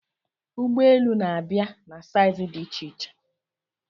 Ụgbọ elu na-abịa na saizi dị iche-iche